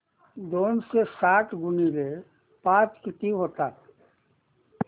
दोनशे साठ गुणिले पाच किती होतात